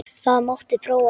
Það mátti prófa það.